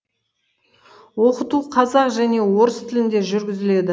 оқыту қазақ және орыс тілінде жүргізіледі